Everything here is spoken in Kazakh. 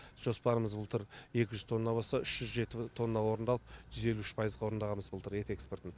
жоспарымыз былтыр екі жүз тонна болса үш жүз жеті тонна орындалып жүз елу үш пайызға орындағанбыз былтыр ет экспортын